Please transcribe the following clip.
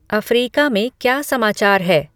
Africa में क्या समाचार है